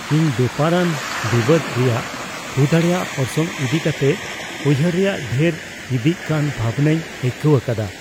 ᱤᱧ ᱵᱮᱯᱟᱨᱟᱱ ᱵᱤᱵᱟᱹᱫᱽ ᱨᱮᱭᱟᱜ ᱦᱩᱭᱫᱟᱲᱮᱭᱟᱜ ᱚᱨᱥᱚᱝ ᱤᱫᱤ ᱠᱟᱛᱮ ᱩᱭᱦᱟᱹᱨ ᱨᱮᱭᱟᱜ ᱰᱷᱮᱨ ᱤᱫᱤᱜ ᱠᱟᱱ ᱵᱷᱟᱵᱽᱱᱟᱧ ᱟᱹᱭᱠᱟᱹᱣ ᱟᱠᱟᱫᱟ ᱾